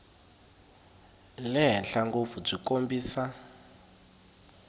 le henhla ngopfu byi kombisa